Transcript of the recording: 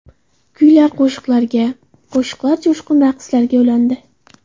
Kuylar qo‘shiqlarga, qo‘shiqlar jo‘shqin raqslarga ulandi.